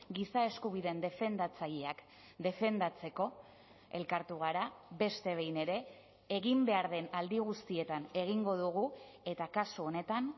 giza eskubideen defendatzaileak defendatzeko elkartu gara beste behin ere egin behar den aldi guztietan egingo dugu eta kasu honetan